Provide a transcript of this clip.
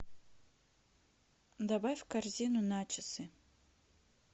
добавь в корзину начосы